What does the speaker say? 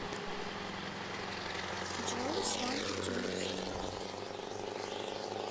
джой сванки тюнс